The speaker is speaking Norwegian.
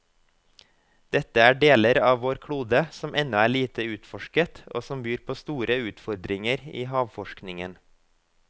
Dette er deler av vår klode som ennå er lite utforsket og som byr på store utfordringer i havforskningen.